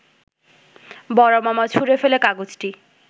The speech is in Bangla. বড় মামা ছুঁড়ে ফেলে কাগজটি